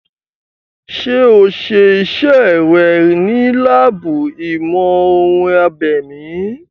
Ṣé o ṣe iṣẹ́ rẹ̀ ní láàbù ìmọ̀-ohun-abèmí?